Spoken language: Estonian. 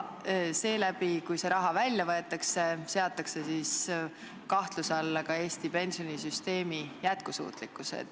Ja kui see raha välja võetakse, satub kahtluse alla ka Eesti pensionisüsteemi jätkusuutlikkus.